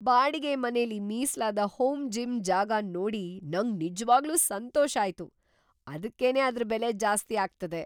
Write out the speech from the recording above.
ಬಾಡಿಗೆ ಮನೆಲಿ ಮೀಸಲಾದ ಹೋಮ್ ಜಿಮ್ ಜಾಗನ್ ನೋಡಿ ನಂಗ್ ನಿಜ್ವಾಗ್ಲೂ ಸಂತೋಷ ಆಯ್ತು - ಅದಕ್ಕೇನೆ ಅದ್ರ ಬೆಲೆ ಜಾಸ್ತಿ ಆಗ್ತದೆ.